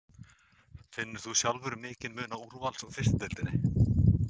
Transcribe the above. Finnur þú sjálfur mikinn mun á úrvals og fyrstu deildinni?